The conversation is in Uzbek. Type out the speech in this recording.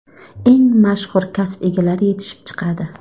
eng mashhur kasb egalari yetishib chiqadi.